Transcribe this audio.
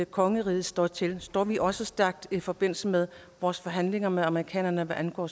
kongeriget står til det står vi også stærkt i forbindelse med vores forhandlinger med amerikanerne hvad angår